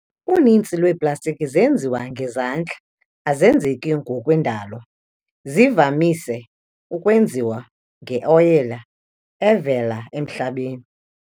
Unintsi lweplastiki zenziwe ngezandla, azenzeki ngokwendalo. zivamise ukwenziwa nge-oyile evela emhlabeni.